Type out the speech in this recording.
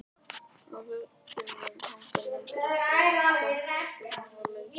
Á veggjunum hanga myndir af frægum poppstjörnum og leikurum.